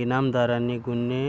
इनामदारांनी गुन्हे